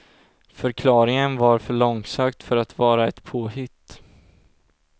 Förklaringen var för långsökt för att vara ett påhitt.